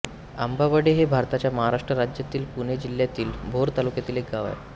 आंबावडे हे भारताच्या महाराष्ट्र राज्यातील पुणे जिल्ह्यातील भोर तालुक्यातील एक गाव आहे